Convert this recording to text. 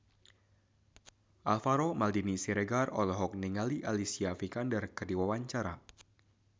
Alvaro Maldini Siregar olohok ningali Alicia Vikander keur diwawancara